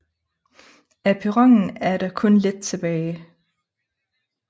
Af perronen er der kun lidt tilbage